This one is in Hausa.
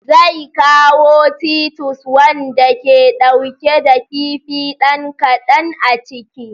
Zai kawo titus wanda ke ɗauke da kifi dan ƙadan a ciki.